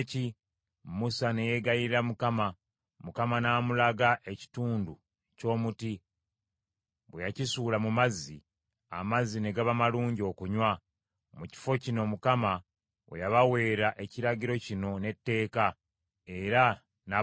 Musa ne yeegayirira Mukama ; Mukama n’amulaga ekitundu ky’omuti. Bwe yakisuula mu mazzi, amazzi ne gaba malungi okunywa. Mu kifo kino Mukama we yabaweera ekiragiro kino n’etteeka, era n’abagezesa